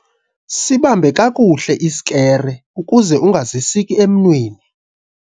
Sibambe kakuhle isikere ukuze ungazisiki emnweni.